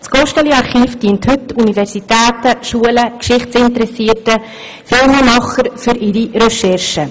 Das Gosteli-Archiv dient heute Universitäten, Schulen, Geschichtsinteressierten und Filmemachern für deren Recherchen.